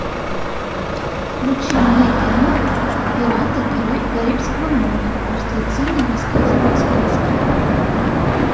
включи мне кино пираты карибского моря мертвецы не рассказывают сказки